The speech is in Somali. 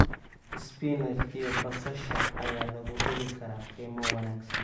Spinach iyo basasha ayaa lagu heli karaa qiimo wanaagsan.